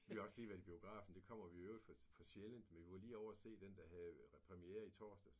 Vi har også lige været i biografen det kommer vi i øvrigt for for sjældent men vi var lige ovre og se den der havde præmiere i torsdags